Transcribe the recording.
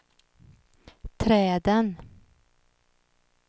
träden